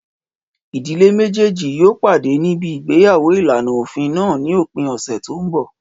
Ìdílé méjèjì yóò pàdé níbi igbeyawo ìlànà òfin náà ní òpin ọ̀sẹ̀ tó n bọ̀